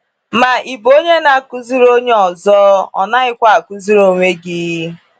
“Ma ị bụ onye na-akụziri onye ọzọ, ò naghịkwa akụziri onwe gị?”